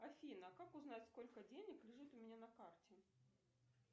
афина как узнать сколько денег лежит у меня на карте